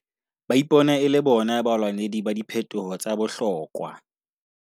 Ba ipona e le bona balwanedi ba diphetoho tsa bohlokwa.